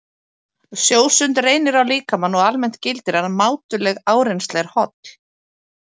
Sjósund reynir á líkamann og almennt gildir að mátuleg áreynsla er holl.